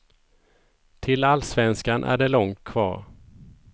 Till allsvenskan är det långt kvar.